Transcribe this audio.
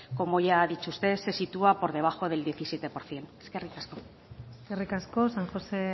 como ya ha dicho usted se sitúa por debajo del diecisiete por ciento eskerrik asko eskerrik asko san josé